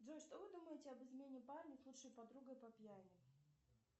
джой что вы думаете об измене парня с лучшей подругой по пьяни